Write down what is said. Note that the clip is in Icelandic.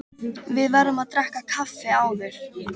Við verðum að drekka kaffi áður.